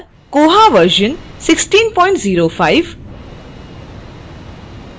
और koha version 1605